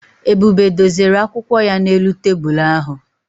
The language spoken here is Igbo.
Ebube dozere akwụkwọ ya n'elu tebụlụ ahụ